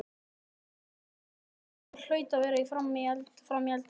Minn maður hlaut að vera frammi í eldhúsi.